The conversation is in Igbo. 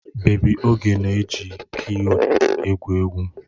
Bebi Oge na-eji kiyub egwu egwuregwu.